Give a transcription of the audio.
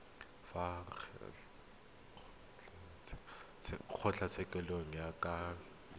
fa kgotlatshekelo e ka laela